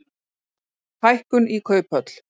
Hækkun í kauphöll